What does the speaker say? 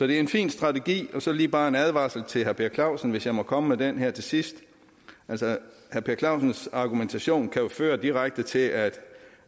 det en fin strategi så lige bare en advarsel til herre per clausen hvis jeg må komme med den her til sidst herre per clausens argumentation kan jo føre direkte til at